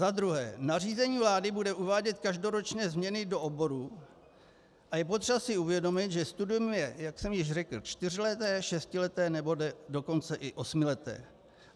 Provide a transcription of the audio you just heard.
Za druhé, nařízení vlády bude uvádět každoročně změny do oborů a je potřeba si uvědomit, že studium je, jak jsem již řekl, čtyřleté, šestileté, nebo dokonce i osmileté.